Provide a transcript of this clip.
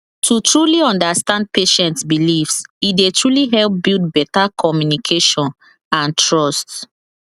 to truly understand patient beliefs e dey truly help build better communication and trust